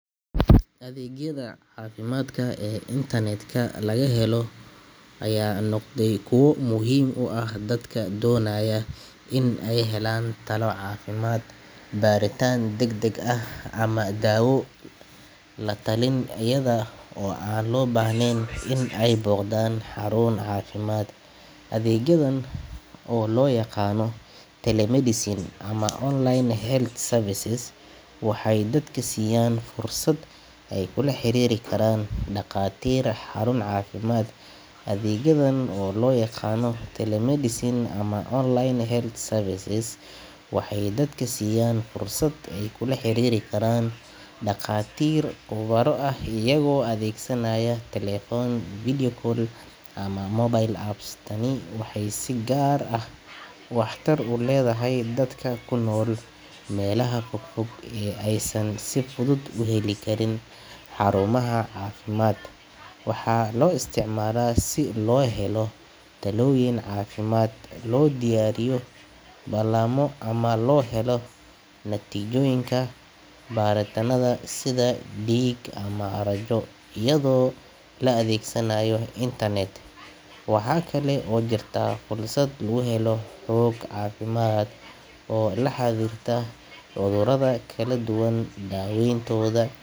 Adeegyada caafimaadka ee internet-ka laga helo ayaa noqday kuwo muhiim u ah dadka doonaya in ay helaan talo caafimaad, baaritaan degdeg ah ama daawo la-talin iyada oo aan loo baahnayn in ay booqdaan xarun caafimaad. Adeegyadan oo loo yaqaanno telemedicine ama online health services waxay dadka siiyaan fursad ay kula xiriiri karaan dhakhaatiir khubaro ah iyagoo adeegsanaya taleefan, video call, ama mobile apps. Tani waxay si gaar ah waxtar u leedahay dadka ku nool meelaha fog fog ee aysan si fudud u heli karin xarumaha caafimaad. Waxaa loo isticmaalaa si loo helo talooyin caafimaad, loo diyaariyo ballamo, loona helo natiijooyinka baaritaannada sida dhiig ama raajo, iyadoo la adeegsanayo internet. Waxaa kale oo jirta fursad lagu helo xog caafimaad oo la xiriirta cudurrada kala duwan, daaweyntooda.